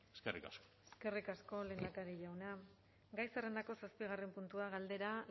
eskerrik asko eskerrik asko lehendakari jauna gai zerrendako zazpigarren puntua galdera